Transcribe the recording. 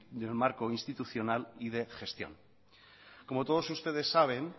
del marco institucional y de gestión como todos ustedes saben